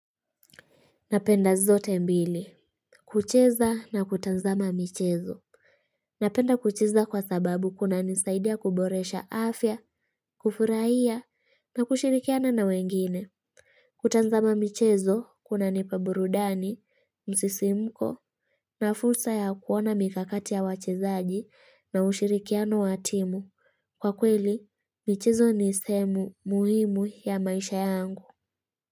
Napenda zote mbili. Kucheza na kutazama michezo. Napenda kucheza kwa sababu kuna nisaidia kuboresha afya, kufurahia, na kushirikiana na wengine. Kutanzama michezo kunanipa burudani, msisimko, nafursa ya kuona mikakati ya wachezaji na ushirikiano watimu. Kwa kweli, michezo ni semu muhimu ya maisha yangu.